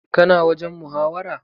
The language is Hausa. Ka na wajen muhawara?